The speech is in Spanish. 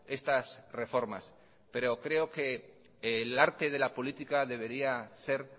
estas reformas pero creo que el arte de la política debería ser